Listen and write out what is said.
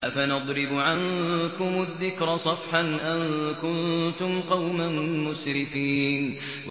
أَفَنَضْرِبُ عَنكُمُ الذِّكْرَ صَفْحًا أَن كُنتُمْ قَوْمًا مُّسْرِفِينَ